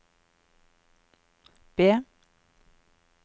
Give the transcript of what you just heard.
B